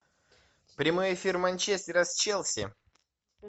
прямой эфир манчестера с челси